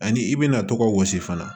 Ani i bɛna tɔgɔ gosi fana